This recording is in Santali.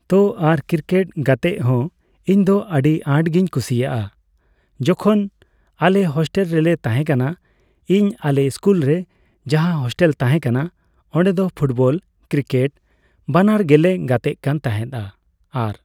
ᱛᱚ ᱟᱨ ᱠᱨᱤᱠᱮᱴ ᱜᱟᱛᱮᱜ ᱦᱚᱸ ᱤᱧ ᱫᱚ ᱟᱰᱤ ᱟᱸᱴ ᱜᱮᱧ ᱠᱩᱥᱤᱭᱟᱜᱼᱟ ᱡᱚᱠᱷᱚᱱ ᱟᱞᱮ ᱦᱳᱥᱴᱮᱞ ᱨᱮᱞᱮ ᱛᱟᱦᱮᱸ ᱠᱟᱱᱟ, ᱤᱧ ᱟᱞᱮ ᱥᱠᱩᱞ ᱨᱮ ᱡᱟᱦᱟᱸ ᱦᱳᱥᱴᱮᱞ ᱛᱟᱦᱮᱸ ᱠᱟᱱᱟ ᱚᱸᱰᱮ ᱫᱚ ᱯᱷᱩᱴᱵᱚᱞ ᱠᱨᱤᱠᱮᱴ ᱵᱟᱱᱟᱨ ᱜᱮᱞᱮ ᱜᱟᱛᱮᱜ ᱠᱟᱱ ᱛᱮᱦᱮᱸᱫᱼᱟ ᱾ᱟᱨ